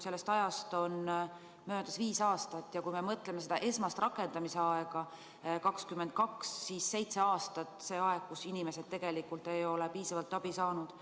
Sellest on möödas viis aastat ja kui esmane rakendamise aeg on 2022, siis seitse aastat on see aeg, kus inimesed tegelikult ei ole piisavalt abi saanud.